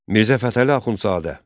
Mirzə Fətəli Axundzadə.